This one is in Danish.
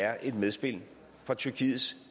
er et medspil fra tyrkiets